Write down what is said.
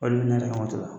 Olu ne yɛrɛ ka moto la